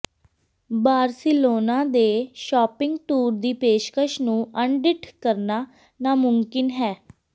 Barcelona ਦੇ shopping tour ਦੀ ਪੇਸ਼ਕਸ਼ ਨੂੰ ਅਣਡਿੱਠ ਕਰਨਾ ਨਾਮੁਮਕਿਨ ਹੈ